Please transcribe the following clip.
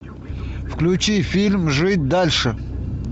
включи фильм жить дальше